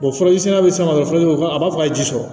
furaji san bɛ san dɔrɔn a b'a fɔ a ye ji sɔrɔ